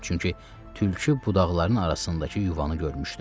Çünki tülkü budaqların arasındakı yuvanı görmüşdü.